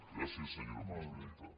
gràcies senyora presidenta